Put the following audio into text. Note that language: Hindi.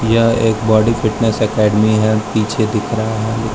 यह एक बॉडी फिटनेस अकैडमी है पीछे दिख रहा है।